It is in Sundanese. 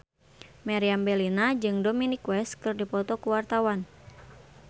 Meriam Bellina jeung Dominic West keur dipoto ku wartawan